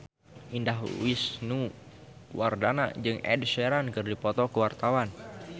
Indah Wisnuwardana jeung Ed Sheeran keur dipoto ku wartawan